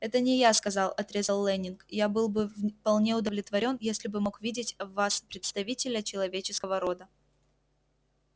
это не я сказал отрезал лэннинг я был бы вполне удовлетворён если бы мог видеть в вас представителя человеческого рода